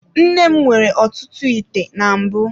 Nne m nwere ọtụtụ ite na mbụ.